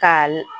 K'a la